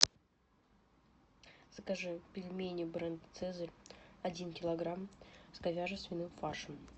закажи пельмени бренд цезарь один килограмм с говяже свиным фаршем